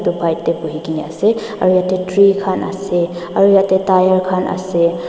buhikaena ase aro yatae tree khan ase aru yatae tyre khan ase.